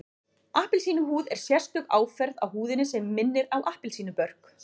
Appelsínuhúð er sérstök áferð á húðinni sem minnir á appelsínubörk